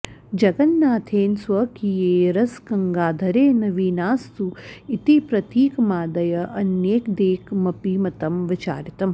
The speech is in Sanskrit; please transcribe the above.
जगन्नाथेन स्वकीये रसगङ्गाधरे नवीनास्तु इति प्रतीकमादय अन्यदेकमपि मतं विचारितम्